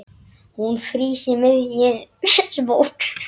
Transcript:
Hún frýs í miðjum smók.